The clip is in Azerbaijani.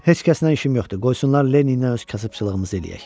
Heç kəsnən işim yoxdur, qoysunlar Lenniylə öz kasıbçılığımızı eləyək.